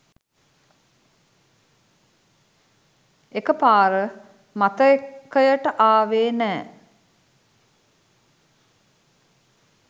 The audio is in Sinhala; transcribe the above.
එක පාර මතකයට ආවේ නෑ.